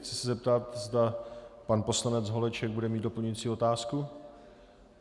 Chci se zeptat, zda pan poslanec Holeček bude mít doplňující otázku.